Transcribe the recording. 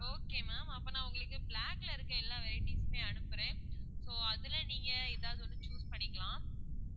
okay ma'am அப்போ நான் உங்களுக்கு black ல இருக்குற எல்லா varieties உமே அனுப்புறேன் so அதுல நீங்க ஏதாவது ஒண்ணு choose பண்ணிக்கலாம்.